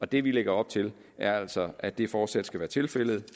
det vi lægger op til er altså at det fortsat skal være tilfældet